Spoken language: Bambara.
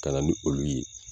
Ka nan ni olu ye